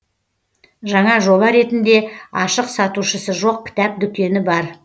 жаңа жоба ретінде ашық сатушысы жоқ кітап дүкені бар